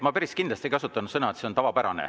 Ma päris kindlasti ei kasutanud sõna, et see on tavapärane.